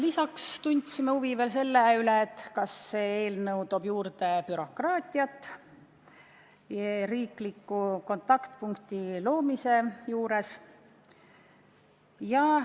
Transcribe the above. Me tundsime huvi veel selle vastu, kas see eelnõu toob juurde bürokraatiat seoses riikliku kontaktpunkti loomisega.